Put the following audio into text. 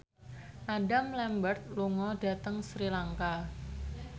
Adam Lambert lunga dhateng Sri Lanka